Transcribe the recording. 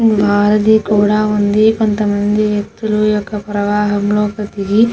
నది కూడా వుంది కాంత్ మంది వేకుతుల్లు ప్రవాహం --